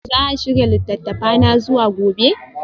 Za a shirya littattafana zuwa gobe?